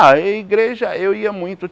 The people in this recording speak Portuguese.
A igreja, eu ia muito.